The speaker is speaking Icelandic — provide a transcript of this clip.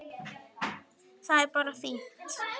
Það er bara fínt!